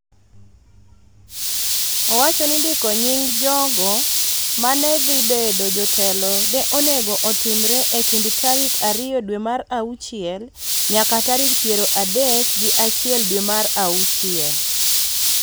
owacho ni ndiko nying� jogo ma ne dhi bedo jotelo ne onego otimre e kind tarik ariyo dwe mar auchiel nyaka tarik piero adek gi achiel dwe mar auchiel.